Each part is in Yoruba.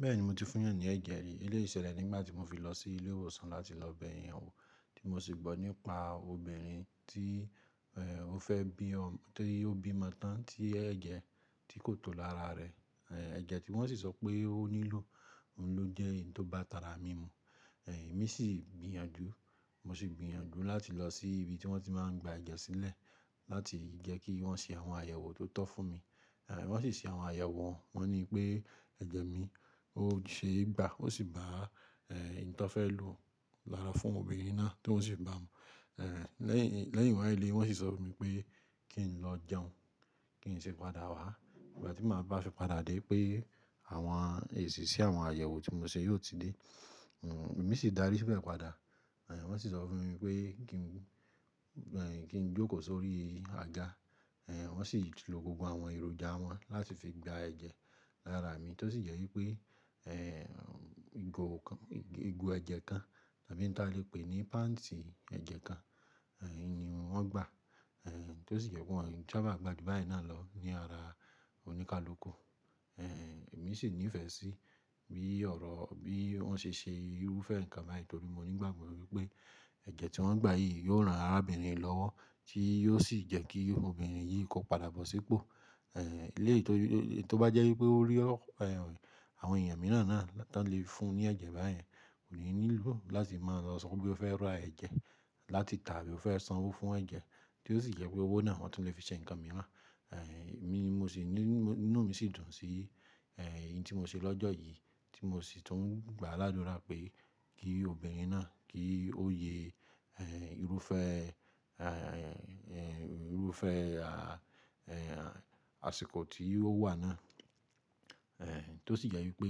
Bẹ́ẹ̀ni mo ti fún ìyàn ní ẹ̀jẹ̀ rí. Eléyìí ṣẹlẹ̀ nígbà tí mo fi lọ sí ilé ìwòsàn láti lọ bẹ eyanwó tí mo sì gbọ́ nípa obìnrin tí o fẹ́ bí ọmọ, tí ó bí ọmọ tán tí ẹ̀jẹ̀ tí kò tó lára rẹ̀. Ẹ̀jẹ̀ tí wọ́n sì sọ pé ó nílò, òun ló jẹ́ èyí tó ba tara mí mu. Èmi sì gbìyànjú, mo sì gbìyànjú láti lọ sí ibi tí wọ́n ti máa ń gba ẹ̀jẹ̀ sílẹ̀ láti jẹ́ kí wọ́n ṣe àwọn àyẹ̀wò tó tọ́ fún mi. Wọ́n sì ṣe àwọn àyẹ̀wò, wọ́n ní pé ẹ̀jẹ̀ mi ó ṣeé gbá, ó sì bá à èyí tó fẹ́ lò lára fún obìnrin náà tó sì bá mi. Lẹ́yìn, lẹ́yìn wọ́n á le wọ́n sì sọ fún mi pé kí n lọ jẹun, kí n ṣe padà wá. Ìgbà tí màá bá fi padà dé pé àwọn èsì sí àwọn àyẹ̀wò tí mo ṣe yóò ti dé. Èmi sì dárí síbẹ̀ padà. Wọ́n sì sọ fún mi pé kí n, kí n jókòó sórí àga. Wọ́n sì lo gbogbo àwọn èròjà wọn láti fi gba ẹ̀jẹ̀ lára mi tó sì jẹ́ wípé igo kan, igo ẹ̀jẹ̀ kan tàbí níta lè pè ní pants ẹ̀jẹ̀ kan, ìní wọn gba. Tó sì jẹ́ pé wọn ń sábà gba ju báyìí náà lọ ní ara oníkálukú. Èmi sì nífẹ̀ẹ́ sí bí ọ̀rọ̀, bí wọ́n ṣe ṣe irúfẹ́ nǹkan báyìí torí mo ní ìgbàgbọ́ wípé ẹ̀jẹ̀ tí wọ́n gbà yìí yóò ran arábìnrin lọ́wọ́ tí yóò sì jẹ́ kí obìnrin yìí kó padà bọ̀ sípò. Eléyìí tó bá jẹ́ wípé ó rí ọ̀wọ́ àwọn èèyàn mìíràn náà tí wọ́n lè fún un ní ẹ̀jẹ̀ báyìí, kò ní nílò láti máa lọ sọ pé ó fẹ́ ra ẹ̀jẹ̀ láti tàbí ó fẹ́ sanwó fún ẹ̀jẹ̀ tí ó sì jẹ́ pé owó náà ni wọ́n tún lè fi ṣe ǹkan mìíràn. Èmi mo sì ní, inú mi sì dùn sí èyí tí mo ṣe lọ́jọ́ yìí tí mo sì tún gbà ládùrá pé kí obìnrin náà kí ó ye irúfẹ́, irúfẹ́ àsìkò tí ó wà náà. Tó sì jẹ́ wípé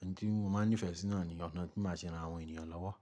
oun tí mo máa nífẹ̀ẹ́ sí náà ni ọ̀nà tí màá ṣe ran àwọn ènìyàn lọ́wọ́.